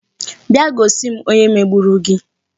Bịa gosi m onye megburu gị